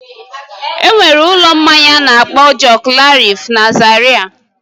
Enwere ụlọ mmanya a na-akpọ Joklarif na Zaria